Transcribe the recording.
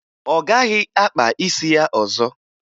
Ọ gaghị akpa isi ya ọzọ